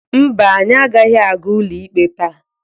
Mba, anyị agaghị aga ụlọikpe taa.